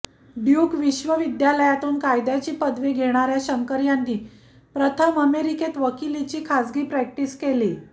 Duke विश्वविद्यालयातून कायद्याची पदवी घेणाऱ्या शंकर यांनी प्रथम अमेरिकेत वकिलीची खासगी प्रॅक्टिस केली